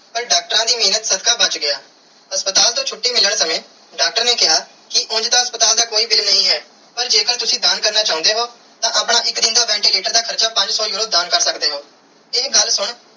ਪਾਰ ਡਾਕਟਰਾਂ ਦੀ ਮੇਹਰ ਸਦਕਾ ਬਚ ਗਿਆ ਹਸਪਤਾਲ ਤੂੰ ਛੁਟੀ ਮਿਲਣ ਸਮੇ ਡਾਕਟਰ ਨੇ ਕੀਆ ਕੇ ਉਂਜ ਹਸਪਤਾਲ ਦਾ ਕੋਈ bill ਨਾਈ ਹੈ ਪਾਰ ਜੇ ਕਰ ਤੁਸੀਂ ਦਾਨ ਕਰਨਾ ਚਾਨੇ ਹੋ ਤਾ ਆਪਣੇ ਇਕ ਦਿਨ ਦਾ ventilator ਦਾ ਹਾਰਚਾ ਪੰਜ ਸੋ euro ਦਾਨ ਕਰ ਸਕਦੇ ਓ ਇਹ ਗੱਲ ਸੁਨ.